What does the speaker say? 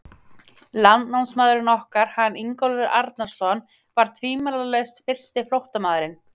Landnámsmaðurinn okkar, hann Ingólfur Arnarson, var tvímælalaust fyrsti flóttamaðurinn.